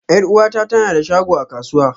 Yar'uwata ta na da shago a kasuwa.